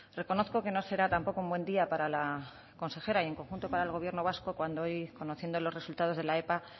reconozco que no será tampoco un buen día para la consejera y en conjunto para el gobierno vasco cuando hoy conociendo los resultados de la epa